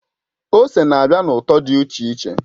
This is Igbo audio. Ose na-abịa na ụtọ dị iche iche.